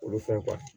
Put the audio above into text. Olu fɛn